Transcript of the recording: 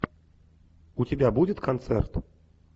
у тебя будет концерт